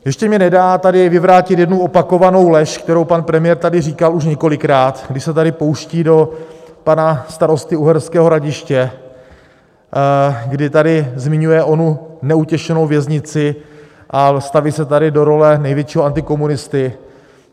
Ještě mi nedá tady vyvrátit jednu opakovanou lež, kterou pan premiér tady říkal už několikrát, kdy se tady pouští do pana starosty Uherského Hradiště, kdy tady zmiňuje onu neutěšenou věznici a staví se tady do role největšího antikomunisty.